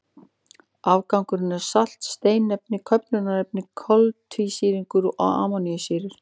Afgangurinn er salt, steinefni, köfnunarefni, koltvísýringur og amínósýrur.